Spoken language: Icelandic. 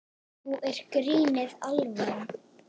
Nú er grínið alvara.